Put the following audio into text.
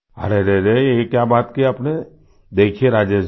अरे रे रे यह क्या बात की आपने देखिये राजेश जी